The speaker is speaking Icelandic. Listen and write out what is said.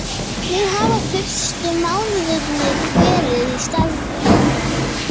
Hvernig hafa fyrstu mánuðirnir verið í starfinu?